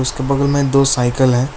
बगल में दो साइकिल है।